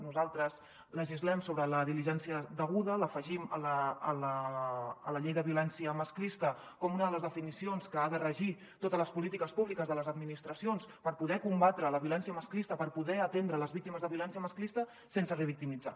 nosaltres legislem sobre la diligència deguda l’afegim a la llei de violència masclista com una de les definicions que ha de regir totes les polítiques públiques de les administracions per poder combatre la violència masclista per poder atendre les víctimes de violència masclista sense revictimitzar